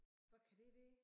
Hvor kan det være?